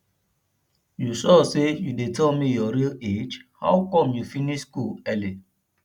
you sure say you dey tell me your real age how come you finish school early